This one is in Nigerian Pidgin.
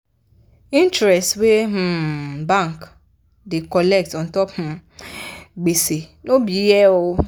interest wey um bank da colect untop um gbese no be here